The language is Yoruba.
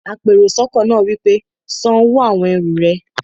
apèròsọ́kọ́ náà wí pé, "san owó àwon ẹrù rẹ!